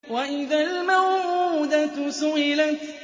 وَإِذَا الْمَوْءُودَةُ سُئِلَتْ